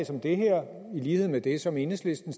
som det her i lighed med det som enhedslisten